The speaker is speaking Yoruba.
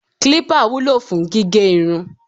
clipper wúlò fún gígé irun